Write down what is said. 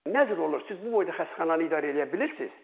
Nə cür olub, siz bu boyda xəstəxananı idarə eləyə bilirsiz?